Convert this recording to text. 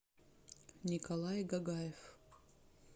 николай гагаев